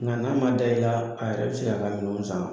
Nga n'a ma da i la, a yɛrɛ bi se ka a ka minɛnw san.